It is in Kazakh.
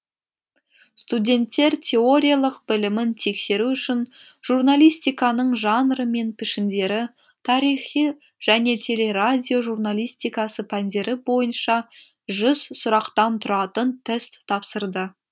студенттер теориялық білімін тексеру үшін журналистиканың жанры мен пішіндері тарихы және телерадио журалистикасы пәндері бойынша жүз сұрақтан тұратын тест тапсырды